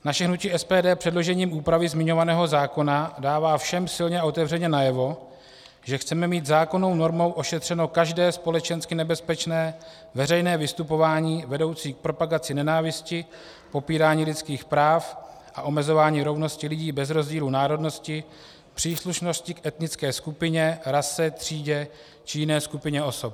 Naše hnutí SPD předložením úpravy zmiňovaného zákona dává všem silně a otevřeně najevo, že chceme mít zákonnou normou ošetřeno každé společensky nebezpečné veřejné vystupování vedoucí k propagaci nenávisti, popírání lidských práv a omezování rovnosti lidí bez rozdílu národnosti, příslušnosti k etnické skupině, rase, třídě či jiné skupině osob.